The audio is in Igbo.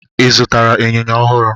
Ị zụtara ịnyịnya ọhụrụ?